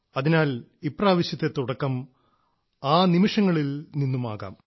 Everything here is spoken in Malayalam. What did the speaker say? അതിനാൽ ഇപ്രാവശ്യത്തെ തുടക്കം ആ നിമിഷങ്ങളിൽ നിന്നുമാകാം